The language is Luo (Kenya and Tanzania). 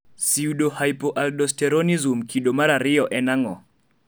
pseudohypoaldosteronism kido mar ariyo en ang'o?